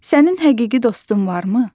Sənin həqiqi dostun varmı?